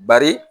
Bari